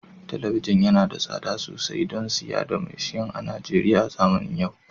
Talabijin yana da tsada sosai don siya da maitian a Najeriya a zamanin yau